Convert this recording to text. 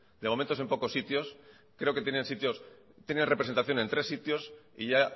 de momento es en pocos sitios creo que tienen representación en tres sitios y ya